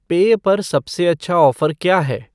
पेय पर सबसे अच्छा ऑफ़र क्या है